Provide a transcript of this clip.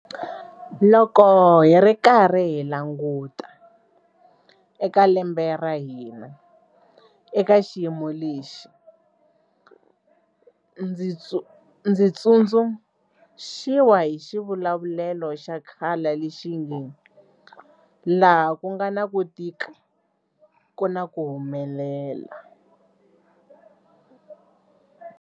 Loko hi ri karhi hi languta eka lembe ra hina eka xiyimo lexi, ndzi tsundzuxiwa hi xivulavulelo xa khale lexi nge 'laha ku nga na ku tika ku na ku humelela'.